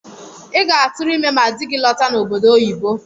I ga-atụrụ ime ma dị gị lọta n’obodo oyibo